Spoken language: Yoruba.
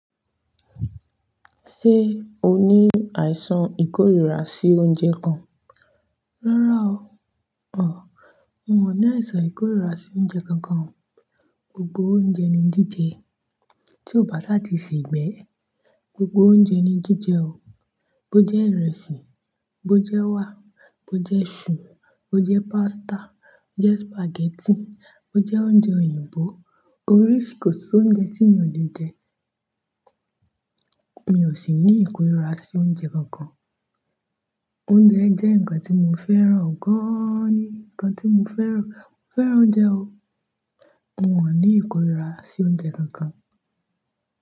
Ṣé o ní àìsàn ìkórìíra sí oúnjẹ kan? Rárá o. Ọ̀ọ́. Mo ní àìsàn ìkórìíra sí oúnjẹ kankan. Gbogbo oúnjẹ ni jíjẹ. Tí o bá sá ti sè é igbé. Gbogbo oúnjẹ ni jíjẹ o. Bo jẹ́ ìrẹsì, bo jẹ́ ewá, bo jẹ́ isù, bo jẹ́ pasta, bo jẹ́ spaghetti, bo jẹ́ oúnjẹ òyìnbó. Oríṣi kò sí oúnjẹ tí mi ò lè jẹ. Mi ò sì ní ìkórìíra sí oúnjẹ kankan. Oúnjẹ jẹ́ nǹkan tí mo fẹ́ràn gan-an ni. Nǹkan tí mo fẹ́ràn. Mo fẹ́ràn oúnjẹ o. Mo wà ní ìkórìíra sí oúnjẹ kankan.